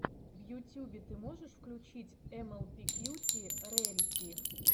в ютюбе ты можешь включить эмэлпи кьюти рэрити